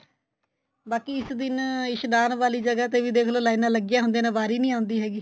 ਬਾਕੀ ਇਸ ਦਿਨ ਇਸ਼ਨਾਨ ਵਾਲੀ ਜਗ੍ਹਾ ਤੇ ਵੀ ਦੇਖ ਲੋ ਲਈਨਾ ਲੱਗੀਆਂ ਹੁੰਦੀਆਂ ਨੇ ਵਾਰੀ ਨੀਂ ਆਉਂਦੀ ਹੈਗੀ